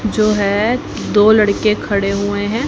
जो है दो लड़के खड़े हुए हैं।